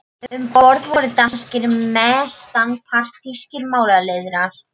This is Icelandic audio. Um borð voru danskir og mestanpart þýskir málaliðar.